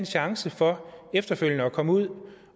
chance for efterfølgende at komme ud